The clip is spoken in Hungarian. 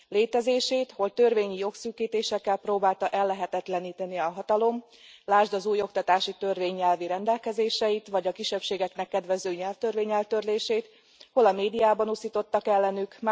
Létezését hol törvényi jogszűkítésekkel próbálta ellehetetleníteni a hatalom lásd az új oktatási törvény nyelvi rendelkezéseit, vagy a kisebbségeknek kedvező nyelvtörvény eltörlését hol a médiában uszítottak ellenük.